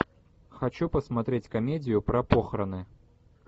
хочу посмотреть комедию про похороны